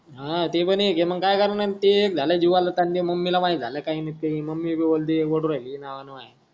हा ते पण एक मंग काय करणार ते एक झाल जीवाल झाल ताण मम्मीला माहित झाल काही नसे मम्मी बोलते ओरडून राहिली नवान माया.